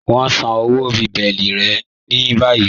Wọn n sán ọwọ́ bèẹ̀lí rẹ̀ ní bàyìí.